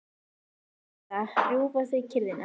En þennan sunnudag rjúfa þau kyrrðina.